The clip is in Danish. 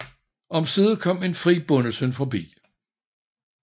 Omsider kom en fri bondesøn forbi